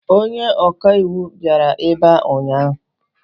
Onye ọka iwu bịara ebe a ụnyaahụ.